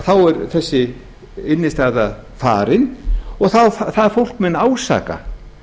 þá er þessi innstæðan farin og það fólk mun ásaka